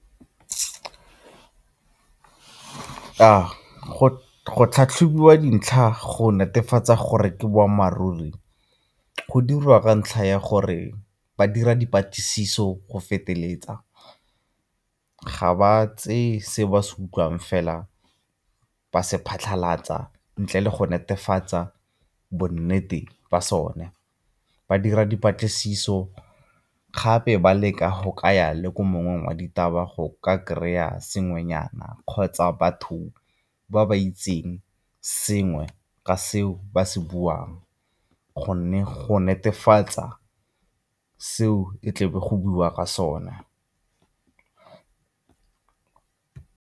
Go tlhatlhobiwa dintlha go netefatsa gore ke boammaaruri, go dirwa ka ntlha ya gore ba dira dipatlisiso go feteletsa, ga ba tseye se ba se utlwang fela ba se phatlhalatsa ntle le go netefatsa bonnete ba sone. Ba dira dipatlisiso gape ba leka go kaya le ko mongwe wa ditaba go ka kry-a sengwenyana kgotsa batho ba ba itseng sengwe ka seo ba se buang gonne go netefatsa seo e tle be go buiwa ka sone.